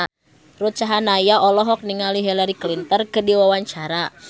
Ruth Sahanaya olohok ningali Hillary Clinton keur diwawancara